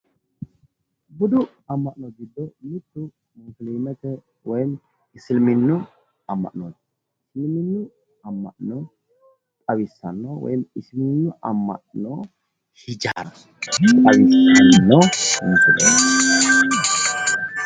Budu amma'no giddo mitte musiliimete woyiimmi isiliminnu amma'no isiliminnu amma'no xawissanno woyiimmi isiliminnu amma'no hijaara xawissanno misileeti